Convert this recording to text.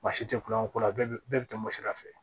Basi te kulonkɛ ko la bɛɛ bɛ bɛɛ bɛ tɛmɛ sira fɛ